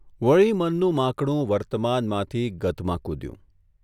વળી મનનું માંકડું વર્તમાનમાંથી ગતમાં કૂધ્યું.